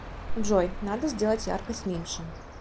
джой надо сделать яркость меньше